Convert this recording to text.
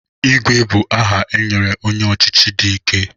Igwe bụ aha e nyere onye ọchịchị dị ike.